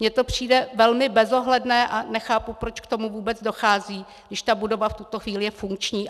Mně to přijde velmi bezohledné a nechápu, proč k tomu vůbec dochází, když ta budova v tuto chvíli je funkční.